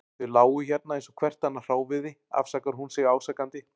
Þau lágu hérna eins og hvert annað hráviði, afsakar hún sig ásakandi.